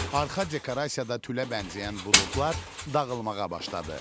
Arxa dekorasiyada tülə bənzəyən buludlar dağılmağa başladı.